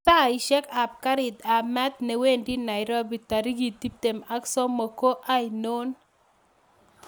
Saishek ab garit ab maat newendi nairobi tarikit tibtem ak somok ko ainon